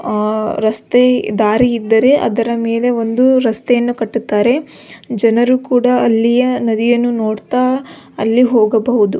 ಅ ರಸ್ತೆ ದಾರಿ ಇದ್ದರೆ ಅದರ ಮೆಲೆ ಒಂದು ರಸ್ತೆಯನ್ನು ಕಟ್ಟುತ್ತಾರೆ ಜನರು ಕುಡ ಅಲ್ಲಿಯ ನದಿಯನ್ನು ನೋಡ್ತಾ ಅಲ್ಲಿ ಹೋಗಬಹುದು.